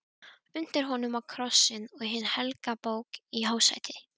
Undir honum var krossinn og hin helga bók í hásæti.